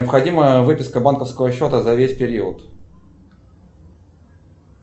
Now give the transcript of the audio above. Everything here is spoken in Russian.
необходима выписка банковского счета за весь период